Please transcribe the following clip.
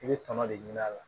I bɛ tɔnɔ de ɲini a la